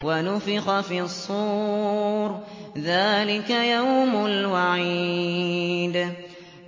وَنُفِخَ فِي الصُّورِ ۚ ذَٰلِكَ يَوْمُ الْوَعِيدِ